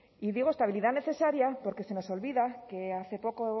y digo estabilidad necesaria porque se nos olvida que hace poco